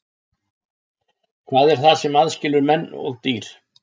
Hvað er það sem aðskilur menn og dýr?